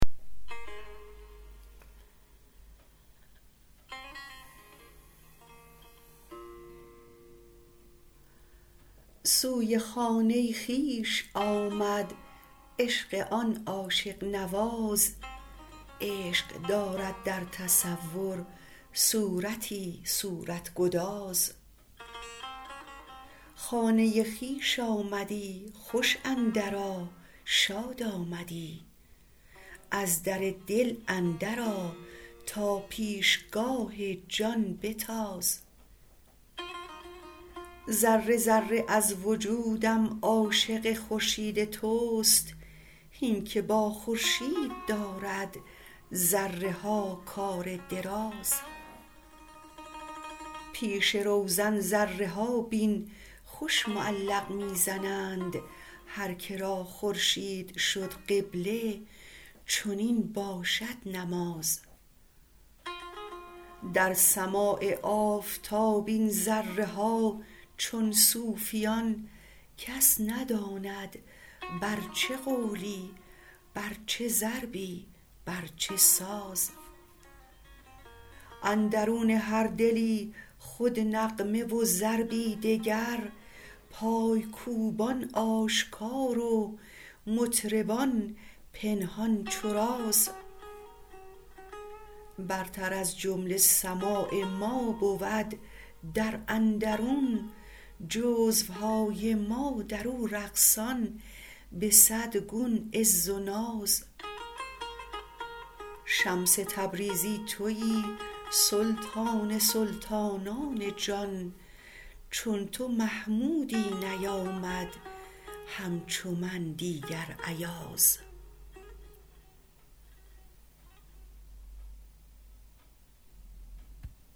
سوی خانه خویش آمد عشق آن عاشق نواز عشق دارد در تصور صورتی صورت گداز خانه خویش آمدی خوش اندرآ شاد آمدی از در دل اندرآ تا پیشگاه جان بتاز ذره ذره از وجودم عاشق خورشید توست هین که با خورشید دارد ذره ها کار دراز پیش روزن ذره ها بین خوش معلق می زنند هر که را خورشید شد قبله چنین باشد نماز در سماع آفتاب این ذره ها چون صوفیان کس نداند بر چه قولی بر چه ضربی بر چه ساز اندرون هر دلی خود نغمه و ضربی دگر پای کوبان آشکار و مطربان پنهان چو راز برتر از جمله سماع ما بود در اندرون جزوهای ما در او رقصان به صد گون عز و ناز شمس تبریزی توی سلطان سلطانان جان چون تو محمودی نیامد همچو من دیگر ایاز